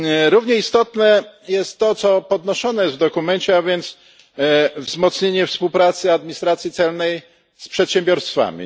Równie istotne jest to, co zostało podniesione w dokumencie, a więc wzmocnienie współpracy administracji celnej z przedsiębiorstwami.